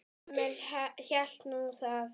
Emil hélt nú það.